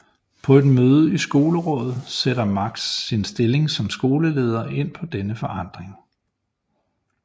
På et møde i Skolerådet sætter Max sin stilling som skoleleder ind på denne forandring